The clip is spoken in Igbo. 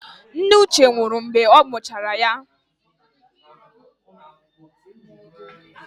Nne Uche nwụrụ mgbe ọ mụchara ya.